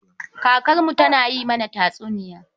Kakarmu tana yin mana tatsuniya.